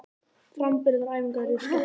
Framburðaræfingarnar eru skemmtilegar.